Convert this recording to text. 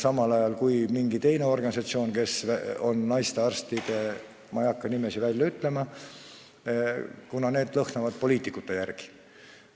Samal ajal kui mingi teine organisatsioon – ma ei hakka nimesid välja ütlema, kuna need lõhnavad poliitikute järele – arvab teisiti.